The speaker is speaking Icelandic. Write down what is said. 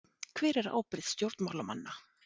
Hver er ábyrgð stjórnmálamanna?